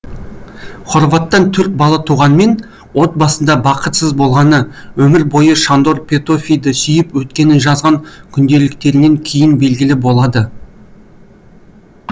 хорваттан төрт бала туғанмен отбасында бақытсыз болғаны өмір бойы шандор петөфиді сүйіп өткені жазған күнделіктерінен кейін белгілі болады